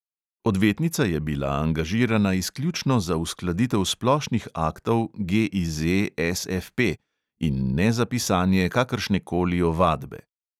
Odvetnica je bila angažirana izključno za uskladitev splošnih aktov GIZ SFP in ne za pisanje kakršnekoli ovadbe.